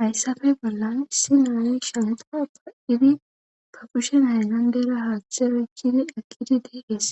hayssafe bollan issi naa'ayi shanta pa7idi pa pushen aylandera haaththera kili akkidi deees